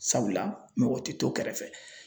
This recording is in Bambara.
Sabula mɔgɔ tɛ to kɛrɛfɛ